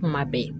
Kuma bɛɛ